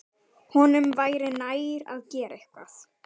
Honum væri nær að gera eitthvað.